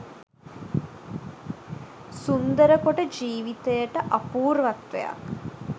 සුන්දර කොට ජීවිතයට අපුර්වත්වයක්